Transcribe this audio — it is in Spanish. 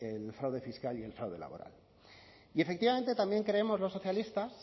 el fraude fiscal y el fraude laboral y efectivamente también creemos los socialistas